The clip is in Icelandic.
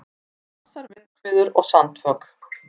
Hvassar vindhviður og sandfok